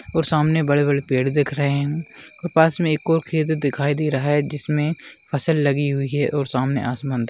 और सामने बड़े-बड़े पेड़ देख रहे हैं और पास में एक ओर खेत दिखाई दे रहा है जिसमे फसल लगी हुई है और सामने आसमान --